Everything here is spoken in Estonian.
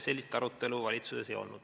Sellist arutelu valitsuses ei olnud.